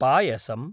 पायसम्